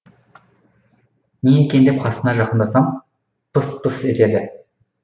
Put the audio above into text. не екен деп қасына жақындасам пыс пыс етеді